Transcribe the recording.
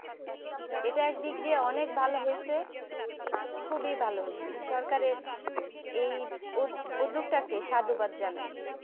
এটা এক দিয়ে অনেক ভালো হয়েছে খুবই ভালো হয়েছে সরকারের এই উদ্যোক্তাকে সাধুবাদ জানায়